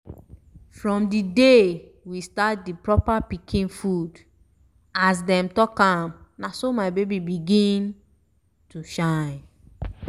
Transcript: from di day we start di proper pikin food as dem talk am na so my baby begin um to shine